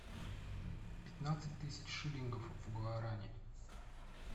пятнадцать тысяч шиллингов в гуарани